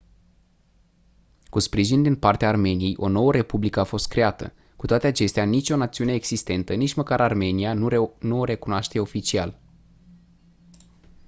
cu sprijin din partea armeniei o nouă republică a fost creată cu toate acestea nicio națiune existentă nici măcar armenia nu o recunoaște oficial